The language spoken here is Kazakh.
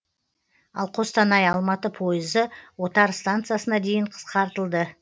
ал қостанай алматы пойызы отар станциясына дейін қысқартылды